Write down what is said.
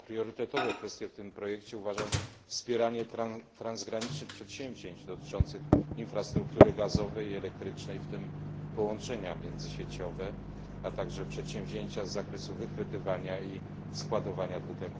Za priorytetowe kwestie w tym projekcie uważam wspieranie transgranicznych przedsięwzięć dotyczących infrastruktury gazowej i elektrycznej, w tym połączenia międzysieciowe, a także przedsięwzięcia z zakresu wychwytywania i składowania CO